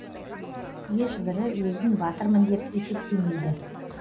еш бірі өзін батырмын деп есептемейді